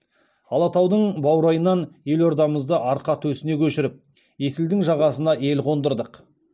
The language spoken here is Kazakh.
алатаудың баурайынан елордамызды арқа төсіне көшіріп есілдің жағасына ел қондырдық